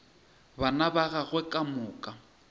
bana ba gagwe ka moka